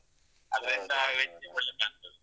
ಅದ್ರಿಂದ ವೆಜ್ ಒಳ್ಳೆ ಕಾಣ್ತದೆ.